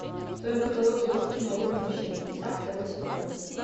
в твоем каталоге есть кино рухнувшие небеса второй сезон